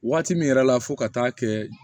Waati min yɛrɛ la fo ka taa kɛ